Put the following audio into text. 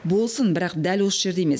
болсын бірақ дәл осы жерде емес